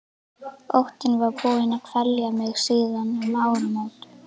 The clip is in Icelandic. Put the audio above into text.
Óttinn var búinn að kvelja mig síðan um áramót.